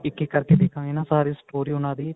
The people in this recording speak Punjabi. ਇੱਕ ਇੱਕ ਕਰਕੇ ਦੇਖਾਂਗੇ ਨਾ story ਉਹਨਾ ਦੀ